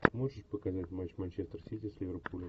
можешь показать матч манчестер сити с ливерпулем